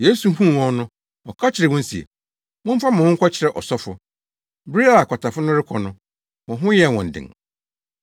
Yesu huu wɔn no, ɔka kyerɛɛ wɔn se, “Momfa mo ho nkɔkyerɛ ɔsɔfo!” Bere a akwatafo no rekɔ no, wɔn ho yɛɛ wɔn den.